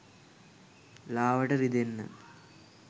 ලාවට රිදෙන්න